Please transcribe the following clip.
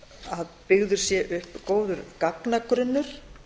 að byggður sé upp góður gagnagrunnur